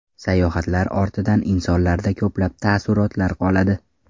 Sayohatlar ortidan insonlarda ko‘plab taassurotlar qoladi.